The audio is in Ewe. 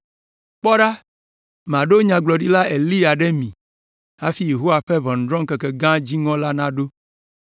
“Kpɔ ɖa, maɖo Nyagblɔɖila Eliya ɖe mi hafi Yehowa ƒe ʋɔnudrɔ̃ŋkeke gã dziŋɔ la naɖo.